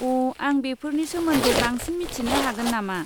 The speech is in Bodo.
अ', आं बेफोरनि सोमोन्दै बांसिन मिथिनो हागोन नामा?